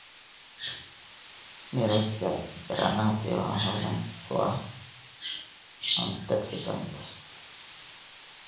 Miroodhka granati waa hodan ku ah antioxidants.